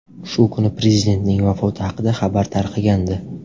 Shu kuni prezidentning vafoti haqida xabar tarqagandi.